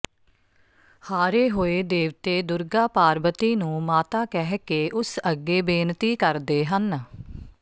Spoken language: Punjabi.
ਹਾਰੇ ਹੋਏ ਦੇਵਤੇ ਦੁਰਗਾ ਪਾਰਬਤੀ ਨੂੰ ਮਾਤਾ ਕਹਿ ਕੇ ਉਸ ਅੱਗੇ ਬੇਨਤੀ ਕਰਦੇ ਹਨ